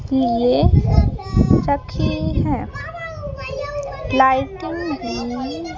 इस लिए रखी है लाइटिंग --